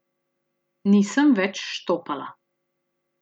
Nisem več štopala.